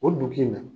O duguk